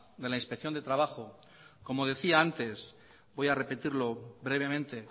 de la inspección de trabajo como decía antes voy a repetirlo brevemente